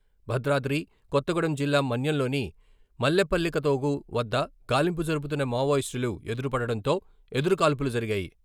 భద్రాద్రి కొత్తగూడెం జిల్లా మన్యంలోని మల్లెపల్లికతోగు వద్ద గాలింపు జరుపుతున్న మావోయిస్టులు ఎదురుపడడంతో ఎదురుకాల్పులు జరిగాయి.